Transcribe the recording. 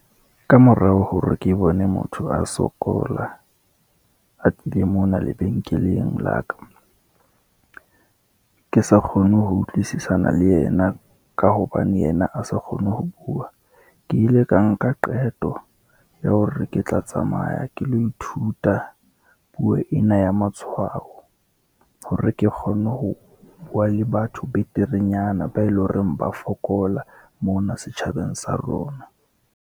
Kamorao hore ke bone motho a sokola a tlile mona lebenkeleng la ka, ke sa kgone ho utlwisisana le yena, ka hobane yena a sa kgone ho bua. Ke ile ka nka qeto ya hore ke tla tsamaya ke lo ithuta puo ena ya matshwao, hore ke kgone ho bua le batho beterenyana, bao eleng hore ba fokola, mona setjhabeng sa rona.